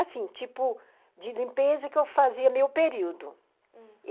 Assim, tipo, de limpeza que eu fazia meu período, uhum.